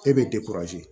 E bɛ